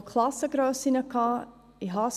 Wir haben von Klassengrössen gesprochen.